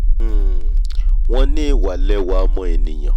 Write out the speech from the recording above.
um wọ́n ní ìwà lẹwà ọmọ ènìà